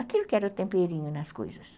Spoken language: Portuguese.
Aquilo que era o temperinho nas coisas.